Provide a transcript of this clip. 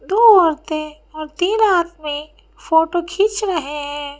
दो औरते और तीन आदमी फोटो खींच रहे हैं।